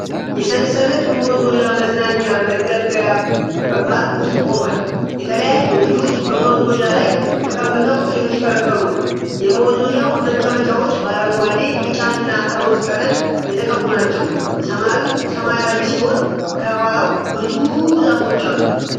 የሰንሰለት መወዛወዣ መዝናኛ መገልገያ በፓርክ ውስጥ ቆሟል። የተለያዩ ልጆች በመወዛወዣው ላይ ተቀምጠው እየተሽከረከሩ ነው። የመወዛወዣው መቀመጫዎች በአረንጓዴ፣ ቢጫና ሮዝ ቀለም የተቀቡ ናቸው። ሰማዩ ሰማያዊ ሲሆን፣ ከኋላው ብዙ ዛፎች አሉ።